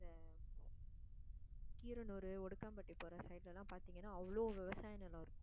கீரனூர், ஒடுக்காம்பட்டி போகிற side எல்லாம் பார்த்தீங்கன்னா அவ்ளோ விவசாய நிலம் இருக்கும்.